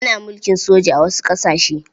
Ana mulkin soja a wasu ƙasashe.